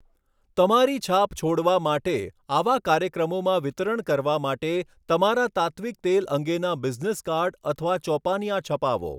તમારી છાપ છોડવા માટે, આવા કાર્યક્રમોમાં વિતરણ કરવા માટે તમારા તાત્ત્વિક તેલ અંગેના બિઝનેસ કાર્ડ અથવા ચોપાનિયા છપાવો.